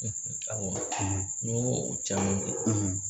awɔ n y'o caman